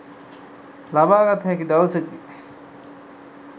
ලබාගත හැකි දවසකි.